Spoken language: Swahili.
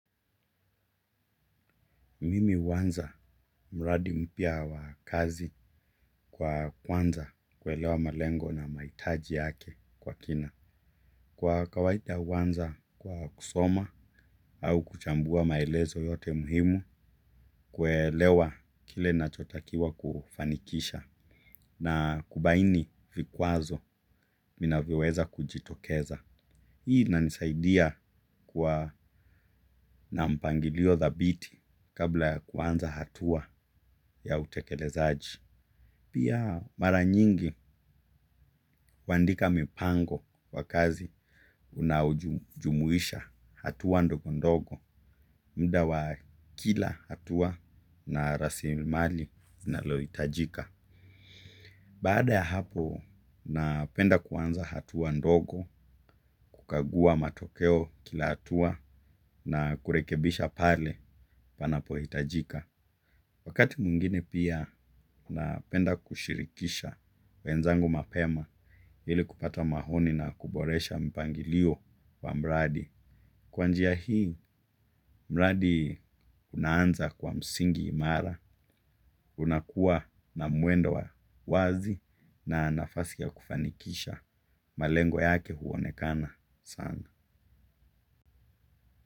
Mimi huanza mradi mpya wa kazi kwa kwanza kuelewa malengo na mahitaji yake kwa kina. Kwa kawaida huanza kwa kusoma au kuchambua maelezo yote muhimu kuelewa kile ninachotakiwa kufanikisha na kubaini vikwazo vinavyo weza kujitokeza. Hii ina nisaidia kwa na mpangilio thabiti kabla ya kuanza hatua ya utekelezaji. Pia mara nyingi huandika mipango ya kazi inayojumuisha hatua ndogondogo. Baada ya hapo napenda kuanza hatua ndogo kukagua matokeo kila hatua na kurekebisha pale panapo hitajika. Wakati mwingine pia napenda kushirikisha wenzangu mapema ili kupata maoni na kuboresha mpangilio wa mradi. Kwa njia hii mradi unaanza kwa msingi imara. Unakuwa na mwendo wa wazi na nafasi ya kufanikisha. Malengo yake huonekana sana.